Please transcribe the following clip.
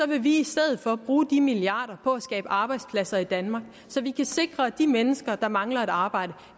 vi vil i stedet for bruge de milliarder på at skabe arbejdspladser i danmark så vi kan sikre at de mennesker der mangler et arbejde